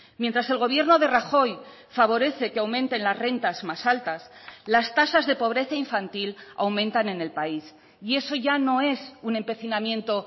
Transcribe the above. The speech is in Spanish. mientras el gobierno de rajoy favorece que aumenten las rentas más altas las tasas de pobreza infantil aumentan en el país y eso ya no es un empecinamiento